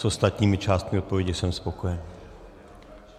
S ostatními částmi odpovědi jsem spokojen.